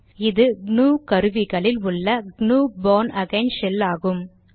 இது க்னூ கருவிகளில் உள்ள க்னூ பார்ன் அகெய்ன் ஷெல் ஆகும்